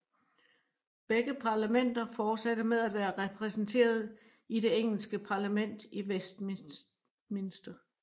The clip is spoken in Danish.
Begge parlamenter fortsatte med at være repræsenteret i det engelske parlament i Westminster